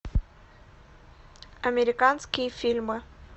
американские фильмы